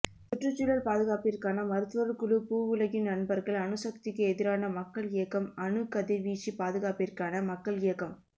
சுற்றுச்சூழல் பாதுகாப்பிற்கான மருத்துவர் குழுபூவுலகின் நண்பர்கள்அணுசக்திக்கு எதிரான மக்கள் இயக்கம்அணுக் கதிர்வீச்சு பாதுகாப்பிற்கான மக்கள் இயக்கம்